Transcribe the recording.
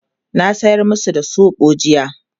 na sayar masu da soɓo jiya